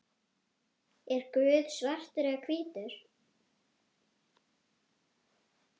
Er Guð svartur eða hvítur?